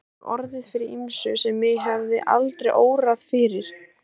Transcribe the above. Ég hef orðið fyrir ýmsu sem mig hefði aldrei órað fyrir.